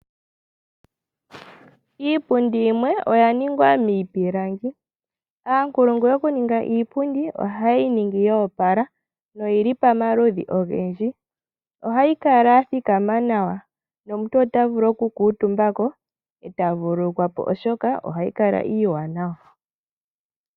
Iipundi yimwe oya ningwa miipilangi, aankulungu yokuninga iipundi oha yeyi ningi yo opala noyili pomaludhi ogendji ohayi kala ya thikama nawa nomuntu ota vulu oku kutumba ko eta vululu kwapo oshoka ohayi kala iiwanawa.